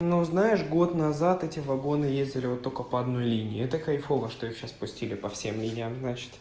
ну знаешь год назад эти вагоны ездили вот только по одной линии это кайфово что их сейчас пустили по всем линиям значит